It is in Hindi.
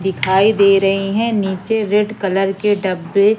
दिखाई दे रही हैं नीचे रेड कलर के डब्बे--